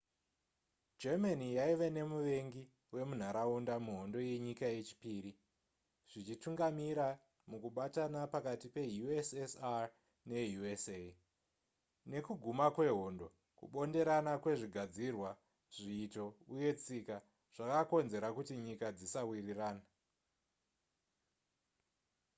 germany yaive nemuvengi wemunharaunda muhondo yenyika yechipiri zvichitungamira mukubatana pakati pe ussr ne usa nekuguma kwehondo kubonderana kwezvigadzirwa zviito uye tsika zvakakonzera kuti nyika dzisawirirana